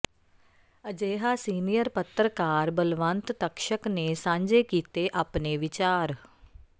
ਅਜਿਹਾ ਸੀਨੀਅਰ ਪੱਤਰਕਾਰ ਬਲਵੰਤ ਤਕਸ਼ਕ ਨੇ ਸਾਂਝੇ ਕੀਤੇ ਆਪਣੇ ਵਿਚਾਰ